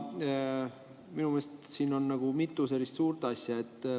Minu meelest on siin mitu suurt asja.